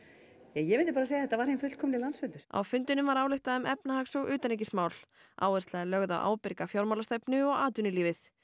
ég myndi bara segja að þetta væri hinn fullkomni landsfundur á fundinum var ályktað um efnahags og utanríkismál áhersla er lögð á ábyrga fjármálastefnu og atvinnulífið